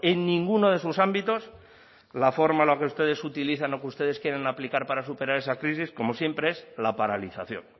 en ninguno de sus ámbitos la forma la que ustedes se utilizan o que ustedes quieren aplicar para superar esa crisis como siempre es la paralización